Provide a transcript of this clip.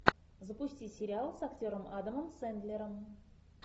запусти сериал с актером адамом сэндлером